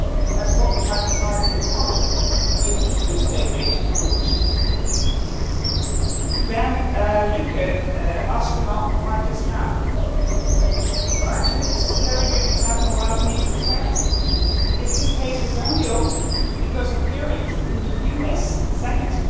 time as what we have decided in common in EU State aid rules. Bernd Lucke asked about why just now. Well, actually this is a very good example of why we need transparency because this case was only opened because of hearings in the US Senate.